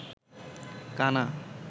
কানা